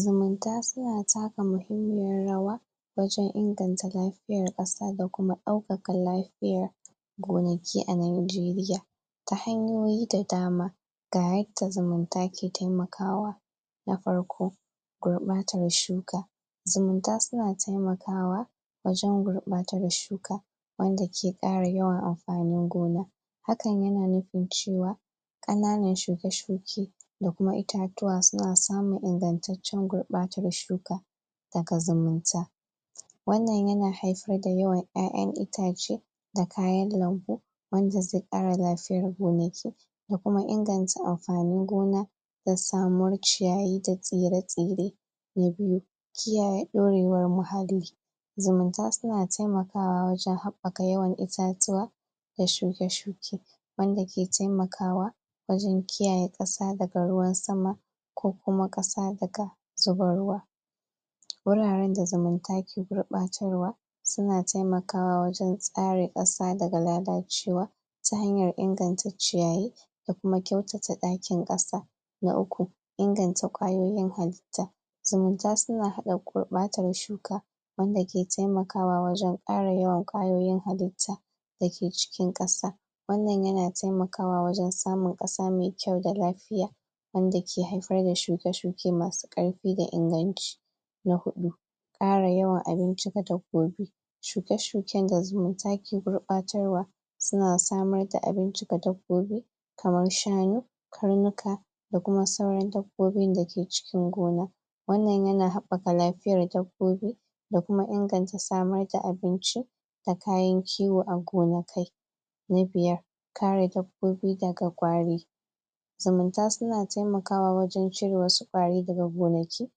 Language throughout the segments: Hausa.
zumunta suna taka muhimmiyar rawa wajen inganta lafiyar ƙasa da kuma ɗaukaka lafiyar gonaki a nijeriya ta hanyoyi da dama ga yadda zumunta ke taimakawa. Na farko gurbatar shuka zumunta suna tai akawa wajen gurbatar shuka wanda ke ƙara yawan amfanin gona hakan yana nufin cewa ƙananan shuke shuke da kuma itatuwa suna samun ingantattun gurbatar shuka daga zumunta. wannan yana haifar da yawan ƴaƴan itace da kayan lambu wanda zai ƙara lafiyar gonaki da kuma inganta lafiyar amfanin gona da sumwar ciyayi da tsire-tsire. Na biyu kiyaye ɗorewar muhalli zumunta suna taimakawa wajen habbaka yawan itatuwa da shuke shuke wanda ke taimakwa wajen kiyaye ƙasa daga ruwan sama ko kuma ƙasa daga zubar ruwa wuraren da zumu ta ke gurbatarwa suna taimakawa wajen tsare ƙasa daga lalacewa ta hanyar inganta ciyayi da kuma kyautata ɗakin ƙasa. Na uku inganta ƙwayoyin haltta zumunta suna hana gurɓatar shuka wanda ke taimakawa wajen ƙara yawan ƙwayoyin halitta dake cikin ƙasa wannan yana taimakwa wajen samun ƙasa mai kayu da lafiya wanda ke haifar da shuke-shuke masu ƙarfi da inganci Na huɗu ƙara yawan abinci gada gobe shuke-shuken da zumunta ke gurɓatarwa suna samar da abinci gada gobe kamar shanu, karnuka da kuma sauran dabbobin dake cikin gona. wannan yana haɓɓaka lafiyar dabbobi da kuma inganta samar da abinci da kayan kiwo a gonakai. Na biyar kare dabbobi daga ƙwari umunta suna taimakawa wajen cire wasu wari daga gonaki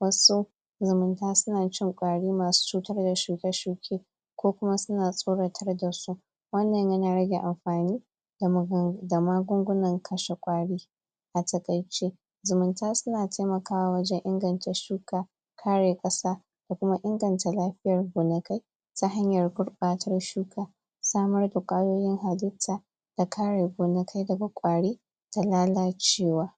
wasu zumunta suna cin wari masu cutar da shuke-shuke ko kuma suna tsoratar dasu wannan yana rage amfani da magungunan kashe ƙwari a taƙaice zumunta suna taimakawa wajen inganta shuka kare ƙasa da kuma inganta lafiyar gonakai ta hanyar gurbatar shuka, samar da ƙwayoyin halitta da kare gonakai daga ƙwari da lalacewa.